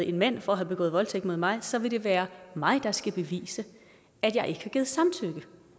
en mand for at have begået voldtægt mod mig så vil det være mig der skal bevise at jeg ikke har givet samtykke